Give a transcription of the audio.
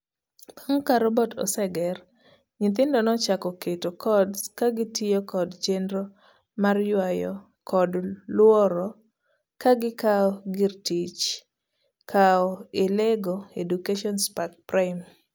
Bang' ka robot oseger, nyithindo nochako keto codes kagitiyo kod chenro mar yuayo kod luaro kagikao gir tich koa e LEGO Education Spike Prime.